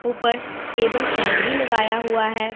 ऊपर table fan भी लगाया हुआ है।